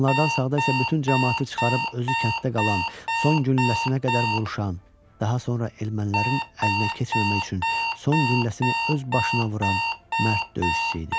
Onlardan sağda isə bütün camaatı çıxarıb özü kənddə qalan, son gülləsinə qədər vuruşan, daha sonra ermənilərin əlinə keçməmək üçün son gülləsini öz başına vuran, mərd döyüşçü idi.